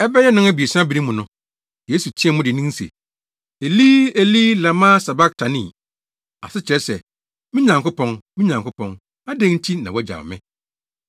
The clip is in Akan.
Ɛbɛyɛ nnɔnabiɛsa bere mu no, Yesu teɛɛ mu dennen se, “Eli, Eli, lama sabaktani?” Ase kyerɛ sɛ, “Me Nyankopɔn, me Nyankopɔn, adɛn nti na woagyaw me?”